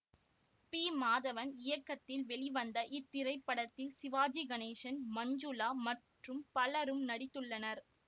B Madhavan இயக்கத்தில் வெளிவந்த இத்திரைப்படத்தில் சிவாஜி கணேசன் மஞ்சுளா மற்றும் பலரும் நடித்துள்ளனர்